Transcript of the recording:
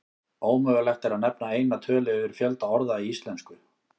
Ómögulegt er að nefna eina tölu yfir fjölda orða í íslensku.